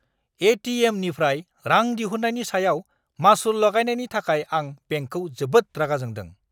ए.टि.एम.निफ्राय रां दिहुन्नायनि सायाव मासुल लागायनायनि थाखाय आं बेंकखौ जोबोद रागा जोंदों!